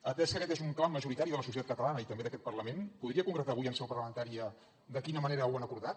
atès que aquest és un clam majoritari de la societat catalana i també d’aquest parlament podria concretar avui en seu parlamentària de quina manera ho han acordat